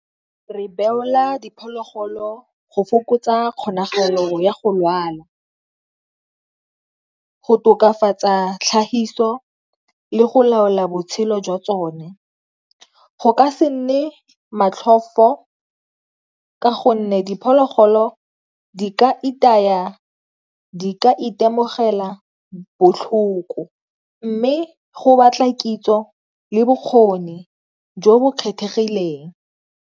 Re beolwa diphologolo go fokotsa kgonagalo ya go lwala, go tokafatsa tlhahiso le go laola botshelo jwa tsone, go ka se nne motlhofo ka gonne diphologolo di ka itaya, di ka itemogela botlhoko. Mme go batla kitso le bokgoni jo bo kgethegileng.